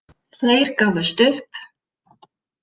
Þeir gáfust upp.